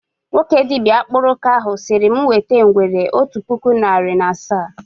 Nwoke dibịa akpụrụka ahụ sịrị mụ wete ngwere otu puku narị na asaa